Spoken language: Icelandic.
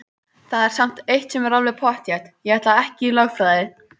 Það er samt eitt sem er alveg pottþétt: Ég ætla ekki í lögfræði!